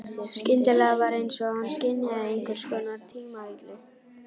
Skyndilega var einsog hann skynjaði einhvers konar tímavillu.